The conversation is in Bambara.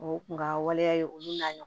O kun ka waleya ye olu n'a ɲɔgɔnna